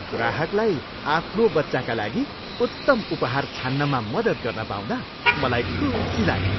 ग्राहकलाई आफ्नो बच्चाका लागि उत्तम उपहार छान्नमा मदत गर्न पाउँदा मलाई खुसी लाग्यो।